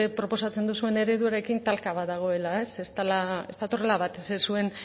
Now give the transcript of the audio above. proposatzen duzuen ereduekin talka bat dagoela ez dela ez datorrela bat ez zuen